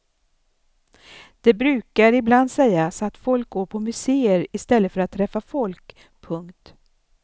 Det brukar ibland sägas att folk går på museer i stället för att träffa folk. punkt